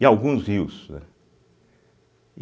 E alguns rios, âh.